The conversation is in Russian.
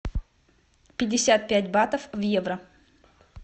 пятьдесят пять батов в евро